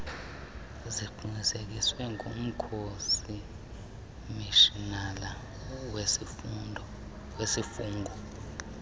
ziqinisekiswe ngumkomishinala wezifungo